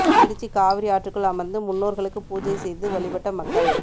திருச்சி காவிரி ஆற்றுக்குள் அமர்ந்து முன்னோர்களுக்கு பூஜை செய்து வழிபட்ட மக்கள்